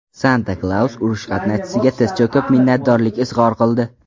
Santa-Klaus urush qatnashchisiga tiz cho‘kib minnatdorlik izhor qildi.